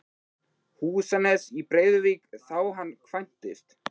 Húsanes í Breiðuvík þá hann kvæntist.